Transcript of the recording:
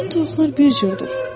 Bütün toyuqlar bir cürdür.